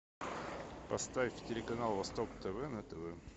поставь телеканал восток тв на тв